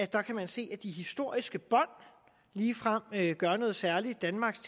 der kan man se at de historiske bånd ligefrem gør noget særligt danmarks